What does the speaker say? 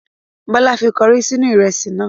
Bọla fi kọrí sínú ìrẹsì náà.